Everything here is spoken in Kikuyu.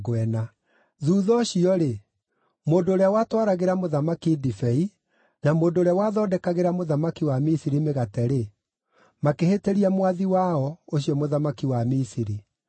Thuutha ũcio-rĩ, mũndũ ũrĩa watwaragĩra mũthamaki ndibei, na mũndũ ũrĩa wathondekagĩra mũthamaki wa Misiri mĩgate-rĩ, makĩhĩtĩria mwathi wao, ũcio mũthamaki wa Misiri.